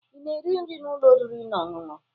Ị na-eri nri n'ụlọ oriri na ọṅụṅụ?